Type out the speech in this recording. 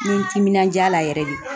N ye n timinandiya a la yɛrɛ de.